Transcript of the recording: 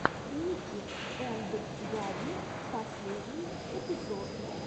ники энд габи последний эпизод